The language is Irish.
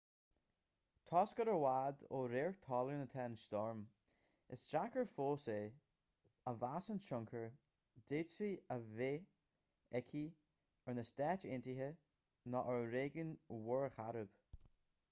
toisc gur i bhfad ó radharc talún atá an stoirm is deacair fós é a mheas an tionchar a d'fhéadfadh a bheith aici ar na stáit aontaithe nó ar réigiún mhuir chairib